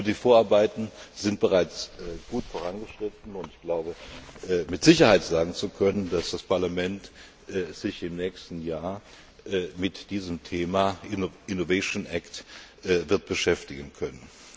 Aber die Vorarbeiten sind bereits gut vorangeschritten, und ich glaube mit Sicherheit sagen zu können, dass das Parlament sich im nächsten Jahr mit diesem Thema Innovation Act wird beschäftigen können.